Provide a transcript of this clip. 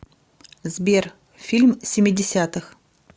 сбер фильм семидесятых